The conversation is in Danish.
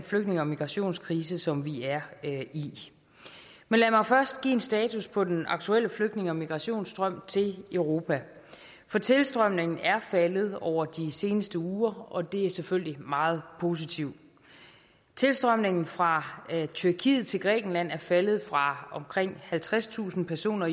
flygtninge og migrationskrise som vi er i men lad mig først give en status på den aktuelle flygtninge og migrationsstrøm til europa for tilstrømningen er faldet over de seneste uger og det er selvfølgelig meget positivt tilstrømningen fra tyrkiet til grækenland er faldet fra omkring halvtredstusind personer